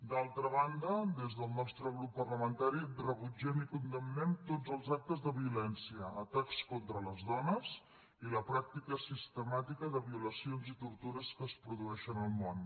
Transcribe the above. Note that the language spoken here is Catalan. d’altra banda des del nostre grup parlamentari rebutgem i condemnem tots els actes de violència atacs contra les dones i la pràctica sistemàtica de violacions i tortures que es produeixen al món